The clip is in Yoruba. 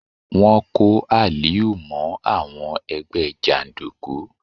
Wọ́n kó Aliu mọ́ àwọn ẹgbẹ́ jàndùkú.